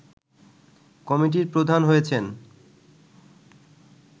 কমিটির প্রধান হয়েছেন